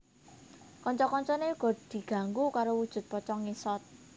Kanca kancané uga diganggu karo wujud pocong ngesot